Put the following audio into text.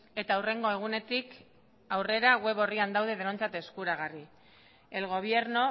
eta hurrengo egunetik aurrera web orrian daude denontzat eskuragarri el gobierno